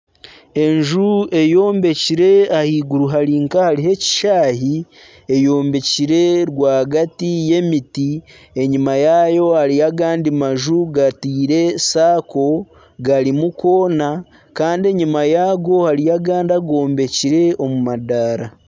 Enju eyombekire ahaiguru hari nkahariyo ekishaayi, eyombekire rwagati y'emiti, enyuma yaayo hariyo agandi maju gataire saako garimu koona kandi enyuma yaago hariyo agandi agombekire omu madaara